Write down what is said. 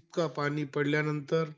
इतका पाणी पडल्यानंतर,